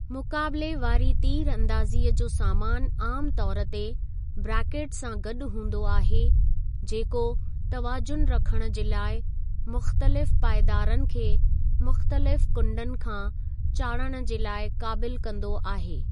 मुक़ाबले वारी तीरंदाज़ीअ जो सामान आम तौर ते ब्रेकेटस सां गॾु हूंदो आहे जेको तवाज़ुन रखणु जे लाइ मुख़्तलिफ़ पाइदारनि खे मुख़्तलिफ़ कुंडनि खां चाढ़णु जे लाइ क़ाबिलु कंदो आहे।